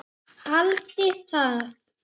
Haldiði það?